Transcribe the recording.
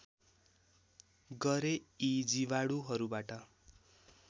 गरे यी जीवाणुहरूबाट